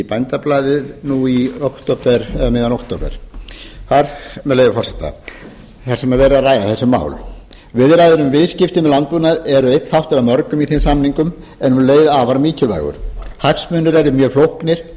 bændablaðið um miðjan október með leyfi forseta þar sem verið er að ræða þessi mál viðræður um viðskipti með landbúnað eru einn þáttur af mörgum í þeim samningum en um leið afar mikilvægur hagsmunir eru mjög flóknir